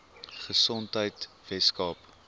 gesondheidweskaap